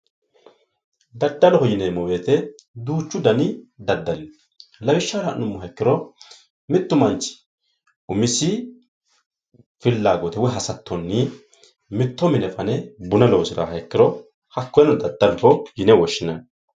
Daddaloho yineemmo woyte duuchu dani daddalino lawishsha la'nummoha ikkiro mittu manchi umisi hasattonni mitto mine fane buna loosiraaha ikkiro hakkoyeno daddaloho yine woshshineemmo